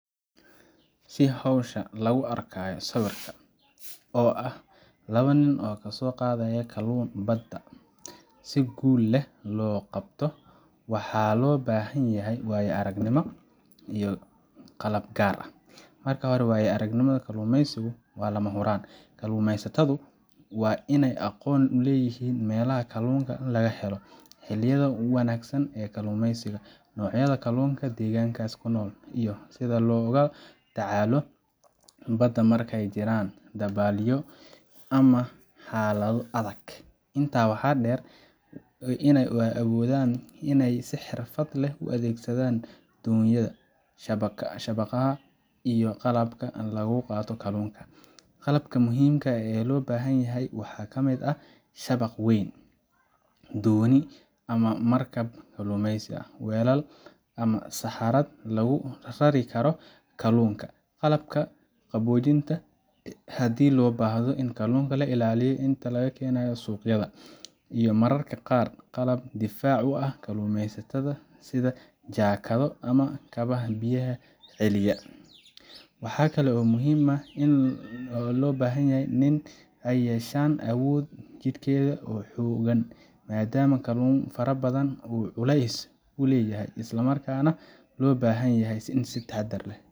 Si hawsha lagu arkayo sawirka oo ah laba nin oo ka soo qaadaya kalluun badda si guul leh loo qabto, waxaa loo baahan yahay waayo-aragnimo iyo qalab gaar ah. Marka hore, waayo aragnimada kalluumeysiga waa lama huraan. Kalluumeysatadu waa inay aqoon u leeyihiin meelaha kalluunka laga helo, xilliyada ugu wanaagsan ee kalluumeysiga, noocyada kalluunka deegaankaas ku nool, iyo sida loola tacaalo badda markay jiraan dabaylo ama xaalado adag. Intaa waxaa dheer, waa inay awoodaan in ay si xirfad leh u adeegsadaan doonyaha, shabaagaha, iyo qalabka lagu qabto kalluunka. Qalabka muhiimka ah ee loo baahan yahay waxaa ka mid ah shabaag weyn, dooni ama markab kalluumeysi, weelal ama saxaarad lagu rari karo kalluunka, qalabka qaboojinta haddii loo baahdo in kalluunka la ilaaliyo inta la keenayo suuqyada, iyo mararka qaar qalab difaac u ah kalluumeysatada sida jaakado ama kabaha biyaha celiya. Waxaa kale oo muhiim ah in labadan nin ay yeeshaan awood jidheed oo xooggan, maadaama kalluun fara badan uu culeys leeyahay, isla markaana loo baahan yahay in si taxaddar leh